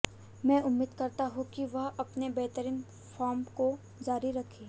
मैं उम्मीद करता हूं कि वह अपने बेहतरीन फॉर्म को जारी रखें